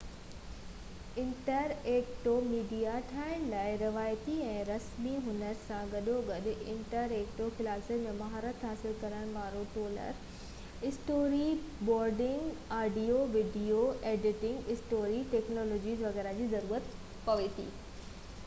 interactive media ٺاهڻ لاءِ روايتي ۽ رسمي هنر سان گڏوگڏ انٽرايڪٽو ڪلاسن ۾ مهارت حاصل ڪرڻ وارن tools storyboarding, audio ۽ video editing, storytelling وغيره جي ضرورت پوي ٿي